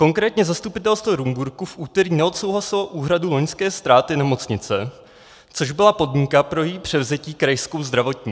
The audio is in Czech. Konkrétně zastupitelstvo Rumburku v úterý neodsouhlasilo úhradu loňské ztráty nemocnice, což byla podmínka pro její převzetí Krajskou zdravotní.